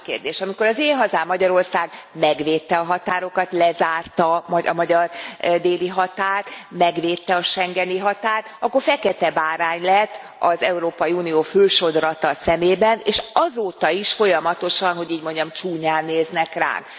A másik kérdés amikor az én hazám, Magyarország megvédte a határokat, lezárta a magyar déli határt, megvédte a schengeni határt, akkor fekete bárány lett az Európai Unió fő sodrata szemében, és azóta is folyamatosan hogy így mondjam csúnyán néznek ránk.